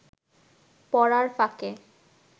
পড়ার ফাঁকে